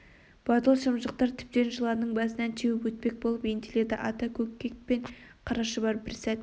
батыл шымшықтар тіптен жыланның басынан теуіп өтпек болып ентеледі ата көкек пен қара шұбар бір сәт